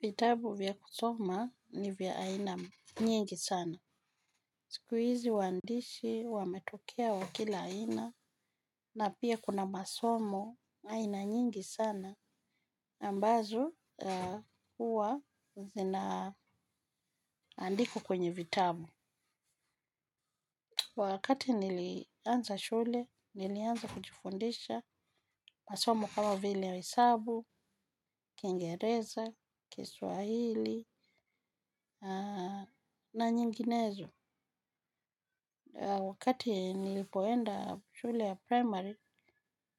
Vitabu vya kusoma ni vya aina nyingi sana. Siku hizi waandishi wametokea wa kila aina na pia kuna masomo aina nyingi sana. Ambazo huwa zinaandikwa kwenye vitabu. Wakati nilianza shule, nilianza kujifundisha masomo kama vile ya hesabu, kingereza, kiswahili na nyinginezo. Wakati nilipoenda shule ya primary,